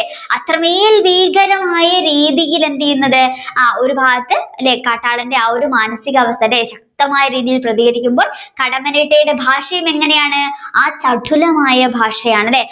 അത്രയുമായ ഭീകര രീതിയിലാണ് എന്ത് ചെയുന്നത് ഒരു ഭാഗത്തു അല്ലെ കാട്ടാളന്റെ ആ ഒരു മാനസിക അവസ്ഥ അല്ലെ ശക്തമായ രീതിയിൽ പ്രതികരിക്കുമ്പോ കടമ്മനിട്ടയുടെ ഭാഷയും എങ്ങനെയാണ് ആ ചതുലമായ ഭാഷയാണ് അല്ലെ